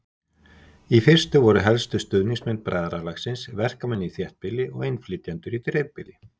Í fyrstu voru helstu stuðningsmenn bræðralagsins verkamenn í þéttbýli og innflytjendur í dreifbýli.